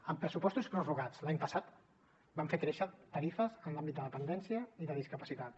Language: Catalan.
amb pressupostos prorrogats l’any passat vam fer créixer tarifes en l’àmbit de dependència i de discapacitats